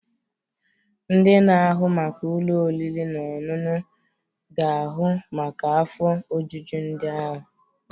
Ndị na-ahụ maka ụlọ oriri na ọṅụṅụ ga ahu maka afọ ojuju ndị ahịa.